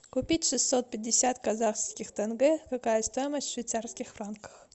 купить шестьсот пятьдесят казахских тенге какая стоимость в швейцарских франках